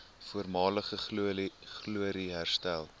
voormalige glorie herstel